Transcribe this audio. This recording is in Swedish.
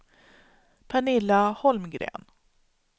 Pernilla Holmgren